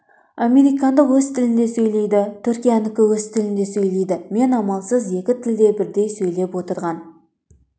американдық өз тілінде сөйлейді түркиянікі өз тілінде сөйлейді мен амалсыз екі тілде бірдей сөйлеп отырған